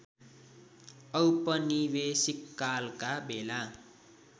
औपनिवेशिक कालका बेला